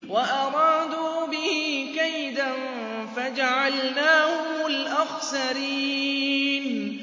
وَأَرَادُوا بِهِ كَيْدًا فَجَعَلْنَاهُمُ الْأَخْسَرِينَ